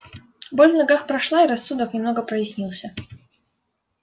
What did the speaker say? боль в ногах прошла и рассудок немного прояснился